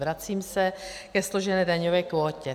Vracím se ke složené daňové kvótě.